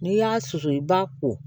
N'i y'a susu i b'a ko